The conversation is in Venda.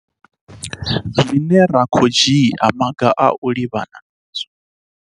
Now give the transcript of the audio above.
Zwine ra khou dzhia maga a u livhana nazwo.